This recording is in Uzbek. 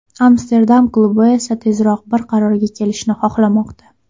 Amsterdam klubi esa tezroq bir qarorga kelishni xohlamoqda.